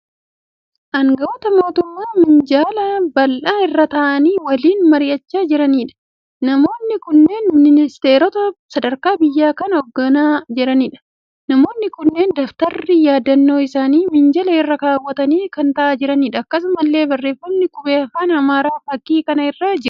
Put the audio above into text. Anga'oota mootummaa minjaala bal'aa irra ta'anii waliin mar'ichaa jiraniidha. Namoonni kunneen ministeerota sadarkaa biyyaa kan oogganaa jiraniidha. Namoonni kunneen dabtarri yaadannoo isaanii minjaala irra kaawwatanii ta'anii haasa'aa jiru. Akkasumallee barreeffamni qubee afaan Amaaraan fakkii kana irra jiru.